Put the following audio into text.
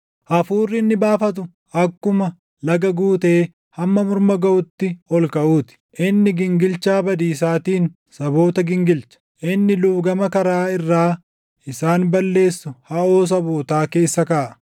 Hafuurri inni baafatu akkuma laga guutee hamma morma gaʼutti ol kaʼuu ti. Inni gingilchaa badiisaatiin saboota gingilcha; inni luugama karaa irraa isaan balleessu haʼoo sabootaa keessa kaaʼa.